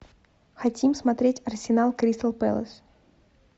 хотим смотреть арсенал кристал пэлас